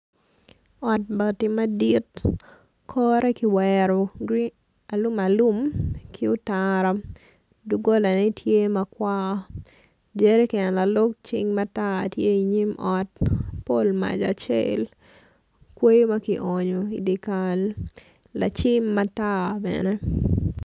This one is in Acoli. Ot bati madit kore ki wero gurin alum alum ki otara dugolanetye matar jeriken lalog cing matar tye inyim ot pol mac acel kweyo ma ki onyo idikal lacim matar bene